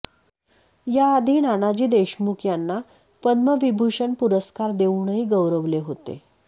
याआधी नानाजी देशमुख यांना पद्मविभूषण पुरस्कार देऊनही गौरवले होते